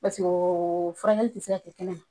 Paseke o furakɛli ti se ka kɛ kɛnɛ ma